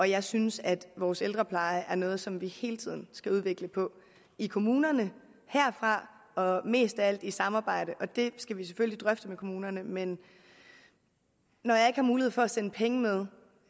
jeg synes at vores ældrepleje er noget som vi hele tiden skal udvikle i kommunerne herfra og mest af alt i et samarbejde og det skal vi selvfølgelig drøfte med kommunerne men når jeg ikke har mulighed for at sende penge med